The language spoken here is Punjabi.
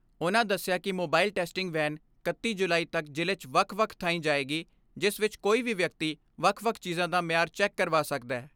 ਉਨ੍ਹਾਂ ਦਸਿਆ ਕਿ ਮੋਬਾਈਲ ਟੈਸਟਿੰਗ ਵੈਨ ਇਕੱਤੀ ਜੁਲਾਈ ਤਕ ਜ਼ਿਲ੍ਹੇ 'ਚ ਵੱਖ ਵੱਖ ਥਾਈਂ ਜਾਏਗੀ ਜਿਸ ਵਿਚ ਕੋਈ ਵੀ ਵਿਅਕਤੀ ਵੱਖ ਵੱਖ ਚੀਜ਼ਾਂ ਦਾ ਮਿਆਰ ਚੈੱਕ ਕਰਵਾ ਸਕਦੈ।